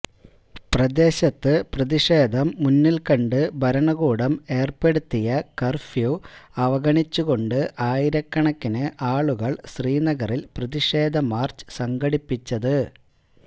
പ്രദേശത്ത് പ്രതിഷേധം മുന്നില്ക്കണ്ട് ഭരണകൂടം ഏര്പ്പെടുത്തിയ കര്ഫ്യൂ അവഗണിച്ചുകൊണ്ട് ആയിരക്കണക്കിന് ആളുകള് ശ്രീനഗറില് പ്രതിഷേധ മാര്ച്ച് സംഘടിപ്പിച്ചത്